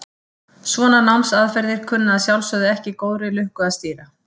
Svona námsaðferðir kunna að sjálfsögðu ekki góðri lukku að stýra.